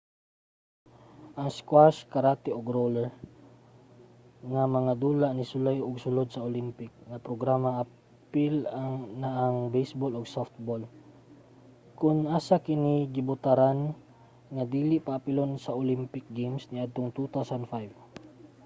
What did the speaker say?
ang squash karate ug roller nga mga dula nisulay ug sulod sa olympic nga programa apil na ang baseball ug softball kon asa kini gibotaran nga dili paapilon sa olympic games niadtong 2005